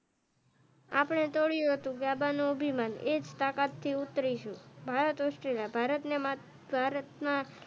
આપણે થોડું હતું ગાભાનો અભિમાન એજ તાકાત થી ઉતરીસું ભારત ઑસ્ટ્રેલિયા ભારત ને માત્ર,